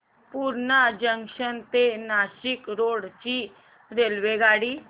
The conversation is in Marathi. पूर्णा जंक्शन ते नाशिक रोड ची रेल्वेगाडी